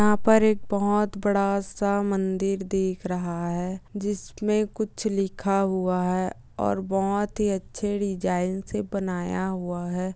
यहा पर एक बहुत बड़ा-सा मंदिर दिख रहा है जिसमे कुछ लिखा हुआ है और बहुत ही अच्छे डिज़ाइन से बनाया हुआ है।